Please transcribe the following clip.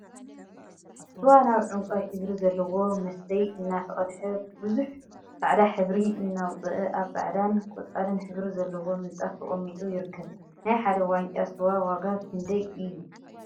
ስዋ ናብ ዕንቋይ ሕብሪ ዘለዎ መስተይ እናተቀድሐ ቡዙሕ ፃዕዳ ሕብሪ እናውፅአ አብ ፃዕዳን ቆፃልን ሕብሪ ዘለዎ ምንፃፍ ተቀሚጡ ይርከብ፡፡ ናይ ሓደ ዋንጫ ስዋ ዋጋ ክንደይ እዩ?